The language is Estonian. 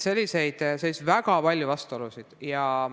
Paraku oli väga palju selliseid vastuolusid.